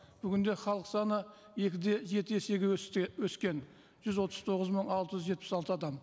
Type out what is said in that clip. бүгінде халық саны екі де жеті есеге өскен жүз отыз тоғыз мың алты жүз жетпіс алты адам